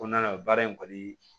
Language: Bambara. Kɔnɔna na baara in kɔni